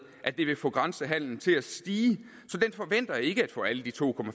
at det vil få grænsehandelen til at stige så den forventer ikke at få alle de to